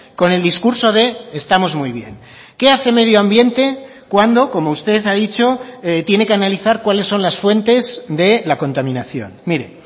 con el discurso de estamos muy bien qué hace medio ambiente cuando como usted ha dicho tiene que analizar cuáles son las fuentes de la contaminación mire